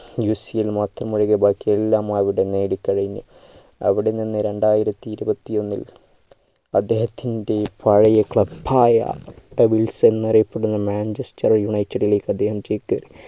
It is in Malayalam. UEFA യിൽ മാത്രം ഒഴികെ ബാക്കി എല്ലാം അവിടുന്ന് നേടി കഴിഞ്ഞു അവിടുന്ന് രണ്ടായിരത്തിഇരുപത്തിഒന്നിൽ അദ്ദേഹത്തിൻ്റെ പഴയ club ആയ devils എന്നറിയപ്പെടുന്ന manchester united ലേക്ക് അദ്ദേഹം ചേക്കേറി